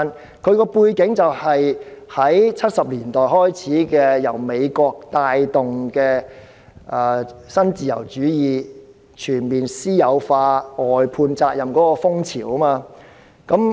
背景可追溯至1970年代，由美國帶動的新自由主義，推動全面私有化、外判責任的風潮。